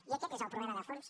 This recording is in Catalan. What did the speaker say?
i aquest és el problema de fons